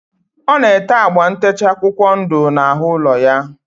Ọ na-ete agba ntecha akwụkwọ ndụ n'ahụ ụlọ ya.